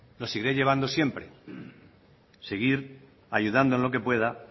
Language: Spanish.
lo seguiré llevando siempre seguir ayudando en lo que pueda